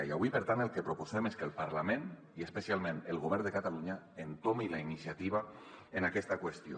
i avui per tant el que proposem és que el parlament i especialment el govern de catalunya entomin la iniciativa en aquesta qüestió